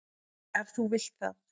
Ef þú vilt það.